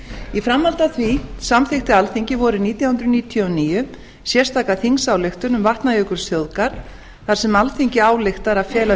í framhaldi af því samþykkti alþingi vorið nítján hundruð níutíu og níu sérstaka þingsályktun um vatnajökulsþjóðgarð þar sem alþingi ályktar að fela